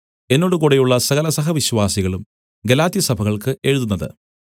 എന്നോട് കൂടെയുള്ള സകല സഹ വിശ്വാസികളും ഗലാത്യസഭകൾക്ക് എഴുതുന്നത്